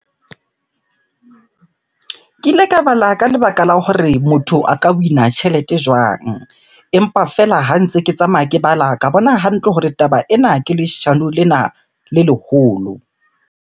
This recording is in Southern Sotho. Ke ile ka bala ka lebaka la hore motho a ka win-a tjhelete jwang? Empa feela ha ntse ke tsamaya ke bala, ka bona hantle hore taba ena ke leshano lena le leholo.